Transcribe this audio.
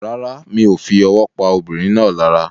Rárá, mi o fi owó pa arábìnrin náà lára